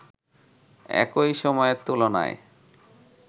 একই সময়ের তুলনায়